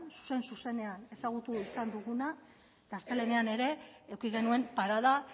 zuzen zuzenean ezagutu izan duguna eta astelehenean ere eduki genuen parada